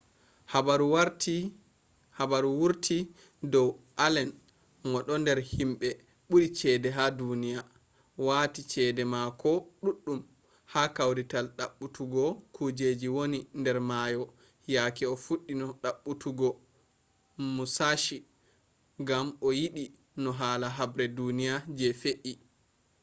habaru wurti dow allen mo ɗo nder himɓe ɓuri cede ha duniya wati cede mako ɗuɗɗum ha kawrital ɗaɓɓutuggo kujeji woni nder mayo yake o fuɗɗino ɗaɓɓutuggo musashi gam o yiɗi no hala habre duniya je fe’i